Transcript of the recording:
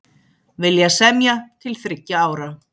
Vilja semja til þriggja ára